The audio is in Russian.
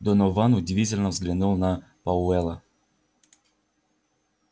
донован удивительно взглянул на пауэлла